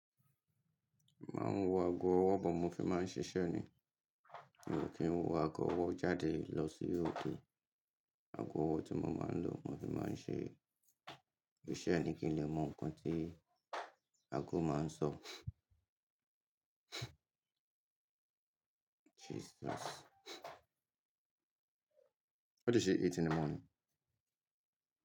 Máa ń wọ ago ọwọ́ bọ̀ mó fi máa ń ṣiṣẹ́ ni. Mi kì ń wọ ago ọwọ́ jáde lọ sí òdè. Ago ọwọ́ tí mo máa ń lò mó fi máa ń ṣe iṣẹ́ ni kí n lè mọ nǹkan tí ago máa ń sọ. Jesus! What did she eat in the morning?